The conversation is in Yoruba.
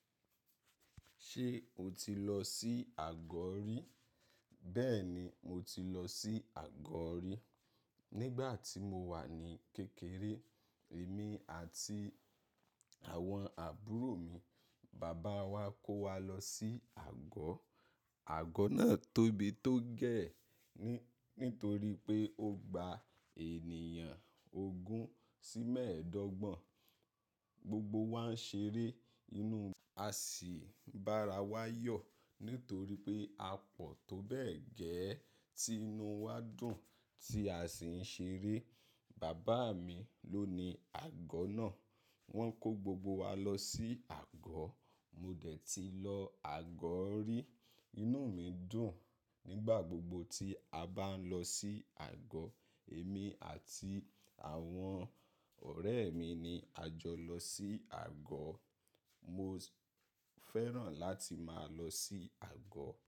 Ṣé o ti lọ sí àgọ́ rí? Bẹ́ẹ̀ni, mo ti lọ sí àgọ́ rí. Nígbà tí mo wà ní kékeré, èmi àti àwọn àbúrò mi, bàbá wa kó wa lọ sí àgọ́. Àgọ́ náà tóbi tó gẹ́, nítorí pé ó gba ènìyàn ogún sí mẹ́ẹ̀ẹ́dọ́gbọ̀n. Gbogbo wa ń ṣeré inú, a sì bá ara wa yọ̀ nítorí pé apọ̀ tó bẹ́ẹ̀ gẹ́ tí inú wa dùn tí a sì ń ṣeré. Bàbá mi ló ni àgọ́ náà. Wọ́n kó gbogbo wa lọ sí àgọ̀. Mo dẹ̀ ti lọ àgọ́ rí. Inú mi dùn nígbà gbogbo tí a bá ń lọ sí àgọ̀. Èmi àti àwọn ọ̀rẹ́ mi ni a jọ lọ sí àgọ̀. Mo fẹ́ràn láti máa lọ sí àgọ̀